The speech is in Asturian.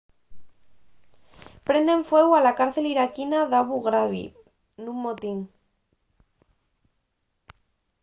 prenden fueu a la cárcel iraquina d'abu ghraib nun motín